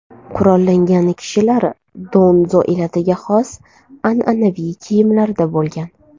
Qurollangan kishilar donzo elatiga xos an’anaviy kiyimlarda bo‘lgan.